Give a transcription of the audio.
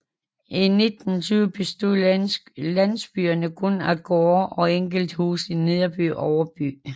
I 1920 bestod landsbyen kun af gårde og enkelte huse i Nederby og Overby